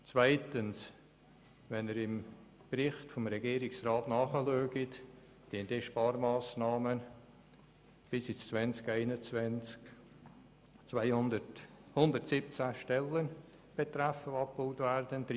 Zweitens können Sie im Bericht des Regierungsrats nachlesen, dass die Sparmassnahmen 117 Stellen betreffen, die bis ins Jahr 2021abgebaut werden.